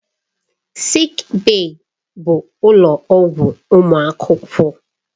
Sịịk bèyí bụ ụlọ ọgwụ ụmụ akwụkwọ.